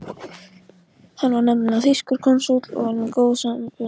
Hann var nefnilega þýskur konsúll og því með góð sambönd.